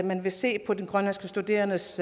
man vil se på den grønlandske studerendes